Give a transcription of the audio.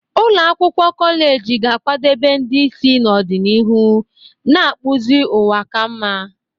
Ụlọ akwụkwọ kọleji ga-akwadebe ndị isi n'ọdịnihu, na-akpụzi ụwa ka mma.